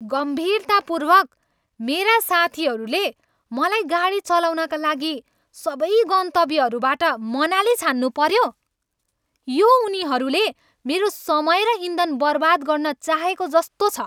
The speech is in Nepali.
गम्भीरतापूर्वक, मेरा साथीहरूले मलाई गाडी चलाउनका लागि सबै गन्तव्यहरूबाट मनाली छान्नुपऱ्यो? यो उनीहरूले मेरो समय र इन्धन बर्बाद गर्न चाहेको जस्तो छ!